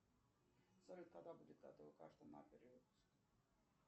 салют когда будет готова карта на перевыпуск